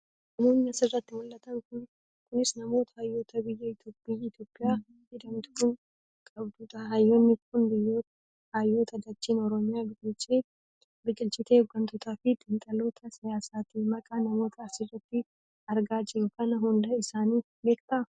Namoonni asirratti mul'atan kunis namoota hayyoota biyyi Itoopiyaa jedhamtu kun qabdu dha. Hayyoonni kun hayyoota dacheen oromiyaa biqilchite hoggantootafi xiinxaltoota siyaasaati. Maqaa namoota asirratti argaa jirru kana hunda isaanii beektaa?